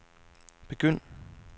begynd